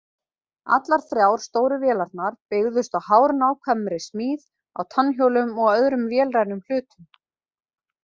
Allar þrjár stóru vélarnar byggðust á hárnákvæmri smíð á tannhjólum og öðrum vélrænum hlutum.